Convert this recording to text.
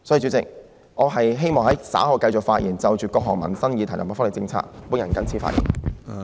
主席，我稍後希望繼續就各項民生議題及福利政策發言。